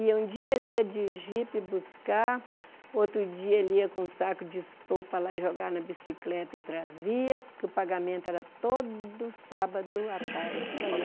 E um dia ele ia de jipe buscar, outro dia ele ia com um saco de estopa lá e jogava na bicicleta e trazia, porque o pagamento era todo sábado à tarde.